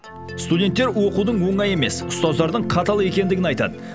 студенттер оқудың оңай емес ұстаздардың қатал екенін айтады